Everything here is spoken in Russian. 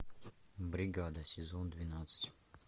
бригада сезон двенадцать